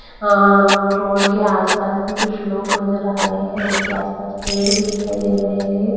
अ road के आस पास भी कुछ लोग नज़र आ रहे है रोड के आस पास पेड़ भी दिखाई दे रहे है।